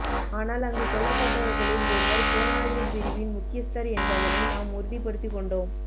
ஆனால் அங்கு கொல்லப்பட்டவர்களில் ஒருவர் புலனாய்வுப்பிரிவின் முக்கியஸ்த்தர் என்பதனை நாம் உறுதிப்படுத்திக் கொண்டோம